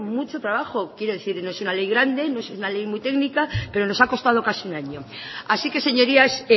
mucho trabajo quiero decir que no es un ley grande no es una ley muy técnica pero nos ha costado casi un año así que señorías